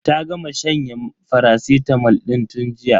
Ta gama shanyen faracitamol din tun jiya.